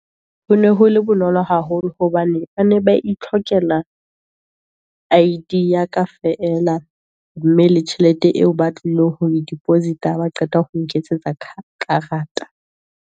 Ho ne hole bonolo haholo, hobane ba ne ba itlhokela I_D ya ka feela, mme le tjhelete eo ba tlileng ho e deposit-a, ba qeta ho nketsetsa karata.